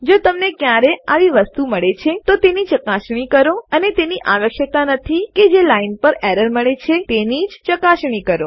જો તમને ક્યારે આવી વસ્તુ મળે છે તો તેની ચકાસણી કરો અને તેની આવશક્યતા નથી કે જે લાઈન પર એરર મળે છે તેની જ ચકાસણી કરો